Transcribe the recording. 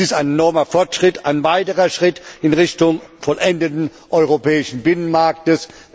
Dies ist ein enormer Fortschritt, ein weiterer Schritt in Richtung Vollendung des Europäischen Binnenmarktes.